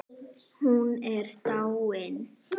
Hún er dáin.